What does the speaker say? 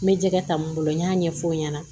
N bɛ jɛgɛ ta n bolo n y'a ɲɛfɔ o ɲɛna